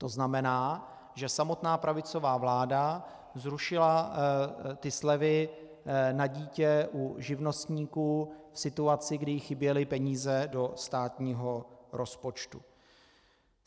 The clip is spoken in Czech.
To znamená, že samotná pravicová vláda zrušila ty slevy na dítě u živnostníků v situaci, kdy jí chyběly peníze do státního rozpočtu.